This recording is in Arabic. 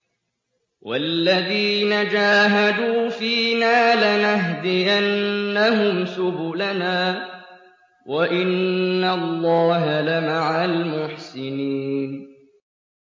وَالَّذِينَ جَاهَدُوا فِينَا لَنَهْدِيَنَّهُمْ سُبُلَنَا ۚ وَإِنَّ اللَّهَ لَمَعَ الْمُحْسِنِينَ